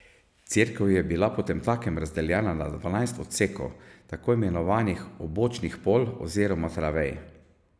Cerkev je bila potemtakem razdeljena na dvanajst odsekov, tako imenovanih obočnih pol oziroma travej.